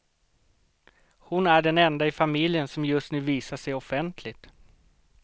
Hon är den enda i familjen som just nu visar sig offentligt.